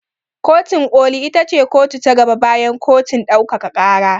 Kotin ƙoli ita ce kotu ta gaba bayan kotun ɗaukaka ƙara.